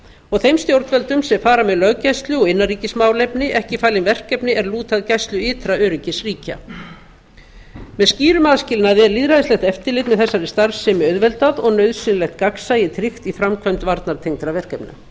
og þeim stjórnvöldum sem fara með löggæslu og innanríkismálefni ekki falin verkefni er lúta að gæslu ytra öryggis ríkja með skýrum aðskilnaði er lýðræðislegt eftirlit með þessari starfsemi auðveldað og nauðsynlegt gagnsæi tryggt í framkvæmd varnartengdra verkefna